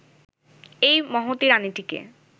এই মহতী রানিটিকে